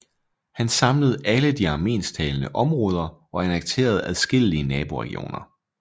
Han samlede alle de armensktalende områder og annekterede adskillige naboregioner